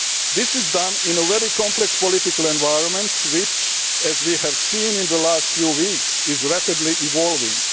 This is being done in a very complex political environment, which, as we have seen in the last few weeks, is rapidly evolving.